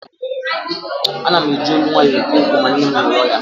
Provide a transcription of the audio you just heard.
Ana m eji ólú nwaayọ ekwu okwu ma nne m nọrọ ya